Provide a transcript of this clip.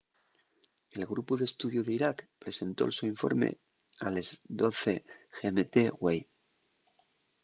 el grupu d’estudiu d’iraq presentó’l so informe a les 12:00 gmt güei